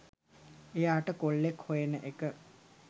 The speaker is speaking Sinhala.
එයාට කොල්ලෙක් හොයන එක